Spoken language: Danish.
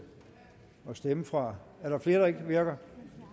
at stemme fra er der flere der ikke virker